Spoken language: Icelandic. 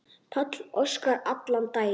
Páll Óskar allan daginn.